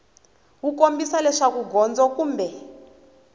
wu kombisa leswaku gondzo kumbe